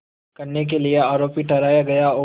करने के लिए आरोपी ठहराया गया और